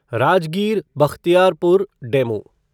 Rajgir Bakhtiyarpur DEMU